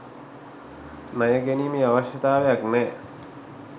ණය ගැනීමේ අවශ්‍යතාවයක් නෑ